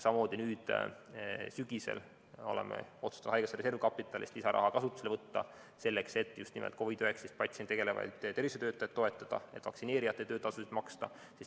Samamoodi oleme nüüd sügisel otsustanud haigekassa reservkapitalist lisaraha kasutusele võtta, selleks et just nimelt COVID‑19 patsientidega tegelevaid tervishoiutöötajaid toetada ja vaktsineerijate töötasusid maksta.